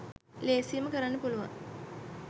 ලේසියෙන්ම කරන්න පුළුවන්